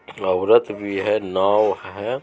औरत भी है नाव है।